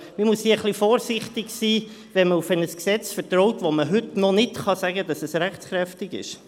Man muss hier ein wenig vorsichtig sein, wenn man auf ein Gesetz vertraut, von dem man heute noch nicht sagen kann, dass es rechtskräftig ist.